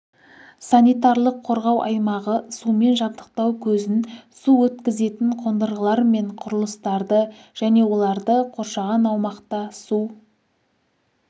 санитарлық қорғау аймағы сумен жабдықтау көзін су өткізетін қондырғылар мен құрылыстарды және оларды қоршаған аумақта су